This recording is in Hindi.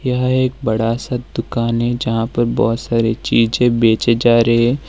यह एक बड़ा सा दुकान है जहां पर बहुत सारी चीजें बेचे जा रहे हैं।